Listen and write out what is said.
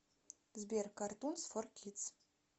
сбер картунс фор кидс